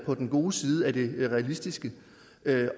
på den gode side af det realistiske